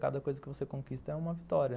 Cada coisa que você conquista é uma vitória.